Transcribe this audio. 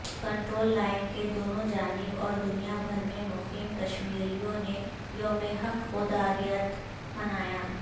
control line کے دونوں جانب اوردنیابھرمیں مقیم کشمیریوں نے یوم حق خودارادیت منایا